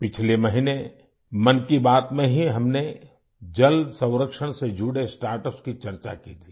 पिछले महीने मन की बात में ही हमने जल संरक्षण से जुड़े स्टार्टअप्स की चर्चा की थी